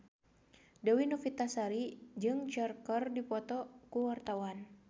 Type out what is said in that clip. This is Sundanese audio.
Dewi Novitasari jeung Cher keur dipoto ku wartawan